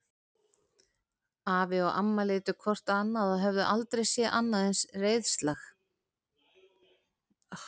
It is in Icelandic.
Afi og amma litu hvort á annað og höfðu aldrei séð annað eins reiðlag.